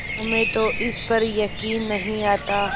हमें तो इस पर यकीन नहीं आता